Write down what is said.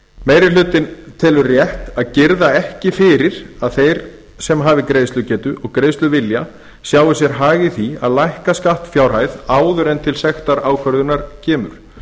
meiri hlutinn telur rétt að girða ekki fyrir að þeir sem hafi greiðslugetu og greiðsluvilja sjái sér hag í því að lækka skattfjárhæð áður en til sektarákvörðunar kemur